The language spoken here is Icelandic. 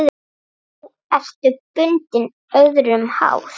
Nú ertu bundin, öðrum háð.